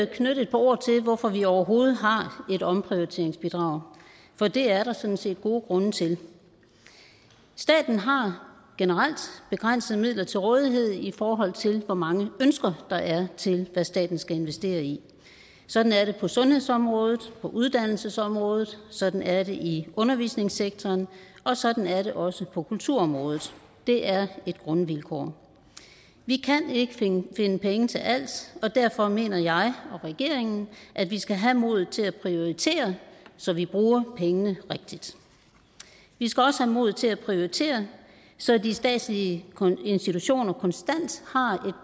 knytte et par ord til hvorfor vi overhovedet har et omprioriteringsbidrag for det er der sådan set gode grunde til staten har generelt begrænsede midler til rådighed i forhold til hvor mange ønsker der er til hvad staten skal investere i sådan er det på sundhedsområdet på uddannelsesområdet sådan er det i undervisningssektoren og sådan er det også på kulturområdet det er et grundvilkår vi kan ikke finde penge til alt og derfor mener jeg og regeringen at vi skal have modet til at prioritere så vi bruger pengene rigtigt vi skal også have modet til at prioritere så de statslige institutioner konstant